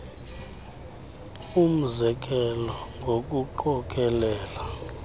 umze kelo ngokuqokelela